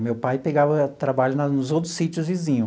O meu pai pegava trabalho na nos outros sítios vizinho.